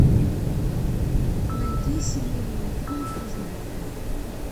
найди семейные фильмы про животных